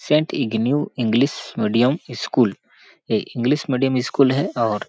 Saint इग्न्यू English medium school ये English medium school है और --